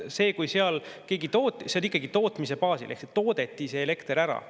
See on ikkagi tootmise baasil ehk see elekter toodeti ära.